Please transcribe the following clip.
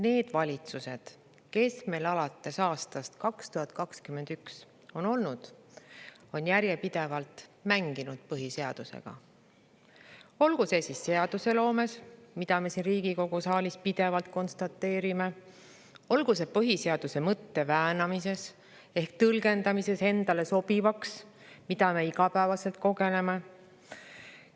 Need valitsused, kes meil alates aastast 2021 on olnud, on järjepidevalt mänginud põhiseadusega, olgu seadusloomes, mida me siin Riigikogu saalis pidevalt konstateerime, või olgu siis põhiseaduse mõtte väänamises ehk tõlgendamises endale sobivaks, mida me iga päev kogeme.